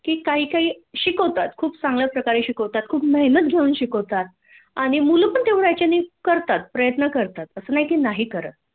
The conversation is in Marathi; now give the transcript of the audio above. की काही काही शिकवतात खूप चांगल्या प्रकारे शिकवतात खूप मेहनत घेऊन शिकवतात आणि मुल पण तेवढ्या ह्याच्याने करतात प्रयत्न करतात अस नाही की नाही करत